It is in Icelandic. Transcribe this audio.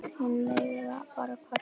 Hinir mega bara kvarta.